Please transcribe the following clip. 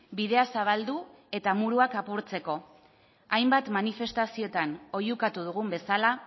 bidea zabaldu eta hormak apurtzeko hainbat manifestazioetan oihukatu dugun bezala